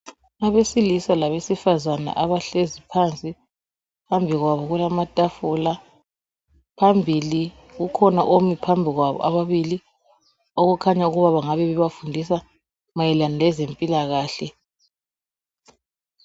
Abesilisa labesifazana abahlezi phansi, phambi kwabo kulamatafula. Phambili kukhona omi phambi kwabo ababili okukhanya ukuba bengabe bebafundisa mayelana lezempilakhle